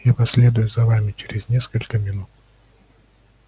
я последую за вами через несколько минут